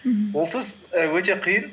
мхм олсыз і өте қиын